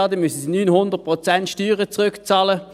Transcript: Dann müssten sie 900 Prozent Steuern zurückbezahlen.